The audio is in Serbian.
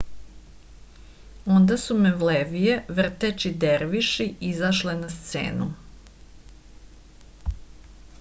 онда су мевлевије вртећи дервиши изашле на сцену